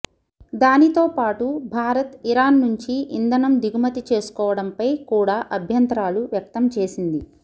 దానితోపాటు భారత్ ఇరాన్ నుంచి ఇంధనం దిగుమతి చేసుకోవడంపై కూడా అభ్యంతరాలు వ్యక్తం చేసింది